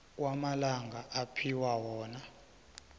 kwamalanga aphiwa wona